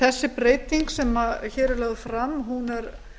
þessi breyting sem hér er lögð fram er